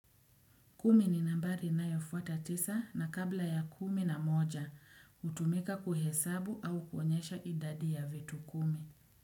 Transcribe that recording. Kumi ni nambari inayofuata tisa na kabla ya kumi na moja hutumika kuhesabu au kuonyesha idadi ya vitu kumi.